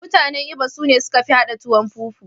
Mutane Igbo sune suka fi iya haɗa tuwon fufu.